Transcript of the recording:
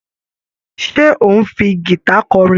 Ṣé ò ń fi gìta kọrin?